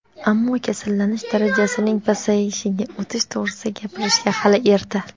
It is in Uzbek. Ammo kasallanish darajasining pasayishiga o‘tish to‘g‘risida gapirishga hali erta.